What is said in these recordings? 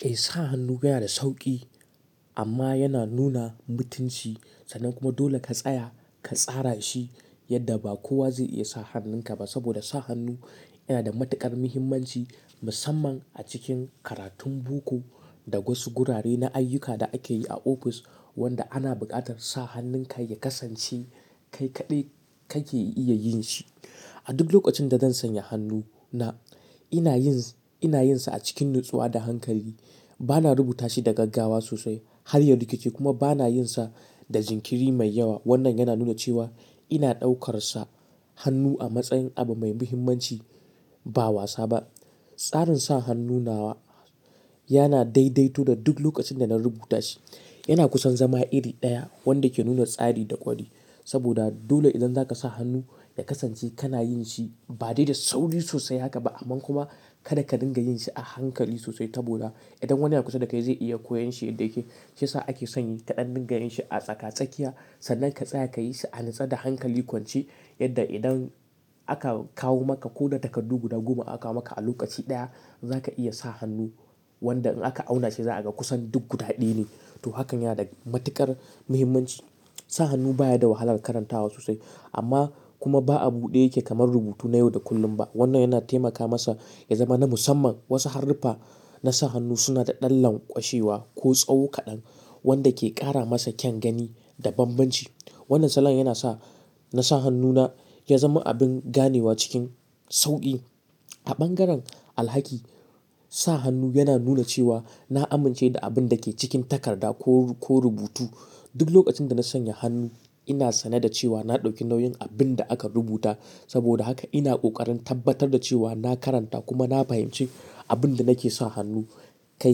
Eh sa hannu yana da sauƙi amma yana nuna mutunci sannan kuma dole ka tsaya ka tsara shi yadda ba kowa zai iya sa hannun ka ba. Saboda sa hannu yana da matuƙar muhimmanci musamman a cikin karatun boko da wasu gurare na ayyuka da ake yi a ofis wanda ana buƙatar sa hannun ka ya kasance kai kaɗai kake iya yin shi. A duk lokacin da zan sanya hannu na ina yin, ina yin sa a cikin natsuwa da hankali. Bana rubuta shi da gaggawa sosai har ya rikice kuma bana yin sa da jinkiri mai yawa. Wannan yana nuna cewa ina ɗaukar sa hannu a matsayin abu mai muhimmanci ba wasa ba. Tsarin sa hannu na wa yana daidaito da duk lokacin da na rubuta shi. Yana kusan zama iri ɗaya wanda ke nuna tsari da kwarewa. Saboda dole idan zaka sa hannu ya kasance kana yin shi ba dai da sauri sosai haka ba amma kuma kada ka dinga yin shi a hankali sosai ta boda. Idan wani ya kusa da kai zai iya koyon shi yadda yake. Sai sa ake san kaɗan dinga yin shi a tsaka-tsakiya sannan ka tsaya ka yi shi a natsa da hankali kwance yadda idan aka kawo maka ko da takardu guda goma aka kawo maka a lokaci ɗaya zaka iya sa hannu wanda in aka auna shi za a ga kusan duk guɗaɗɗi ne. To hakan yana da matuƙar muhimmanci. Sa hannu baya da wahalar karantawa sosai amma kuma ba abude yake kamar rubutu na yau da kullum ba. Wannan yana taimaka masa ya zama na musamman. Wasu haruffa na sa hannu suna da ɗan lanƙwashewa ko tsawo kaɗan wanda ke ƙara masa kyan gani da banbanci. Wannan salon yana sa na sa hannu na ya zama abin ganewa cikin sauƙi. A ɓangaren alhaki, sa hannu yana nuna cewa na amince da abin da ke cikin takarda ko, ko rubutu. Duk lokacin da na sanya hannu ina sane da cewa na ɗauki nauyin abin da aka rubuta. Saboda haka ina ƙoƙarin tabbatar da cewa na karanta kuma na fahimci abin da nake sa hannu kai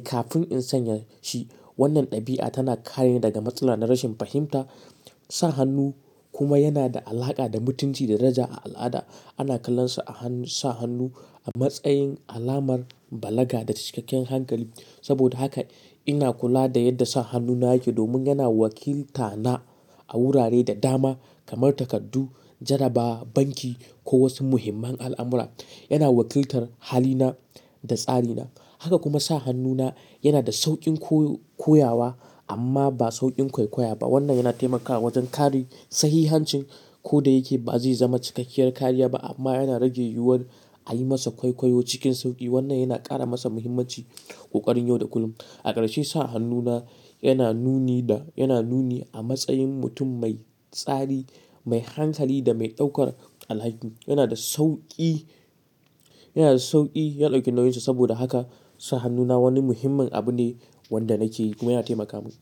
kafin in sanya shi. Wannan ɗabi'a tana kare ni daga matsala na rashin fahimta. Sa hannu kuma yana da alaƙa da mutunci da daraja a al'ada. Ana kallon sa a hannu, sa hannu a matsayin alamar balaga da cikakken hankali. Saboda haka ina kula da yadda sa hannu na yake domin yana wakilta na a wurare da dama kamar takardu, jarrabawa, banki ko wasu muhimman al'amura. Yana wakiltar hali na da tsari na. Haka kuma sa hannu na yana da sauƙin ko-koyawa amma ba sauƙin kwaikwayo ba. Wannan yana taimakawa wajen kare sahihancin ko da yake ba zai zama cikakkiyar kariya ba amma yana rage yiwuwar a yi masa kwaikwayo cikin sauƙi. Wannan yana ƙara masa muhimmanci ƙoƙarin yau da kullum. A ƙarshe sa hannu na yana nuni da, yana nuni a matsayin mutum mai tsari, mai hankali da mai ɗaukar alhaki. Yana da sauƙi, yana da sauƙi ya ɗauki nauyinsa. Saboda haka sa hannu na wani muhimmin abu ne wanda na ce kuma yana taimaka mun.